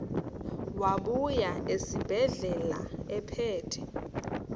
wabuya esibedlela ephethe